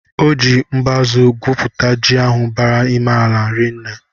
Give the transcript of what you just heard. O jị mbazu gwuputa ji ahụ bara ime ala rinne.